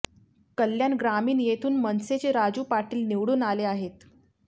कल्याण ग्रामीण येथून मनसेचे राजू पाटील निवडून आले आहेत